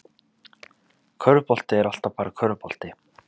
Körfubolti er alltaf bara körfubolti